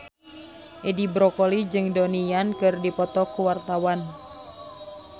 Edi Brokoli jeung Donnie Yan keur dipoto ku wartawan